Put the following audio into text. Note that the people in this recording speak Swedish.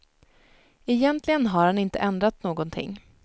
Egentligen har han inte ändrat någonting.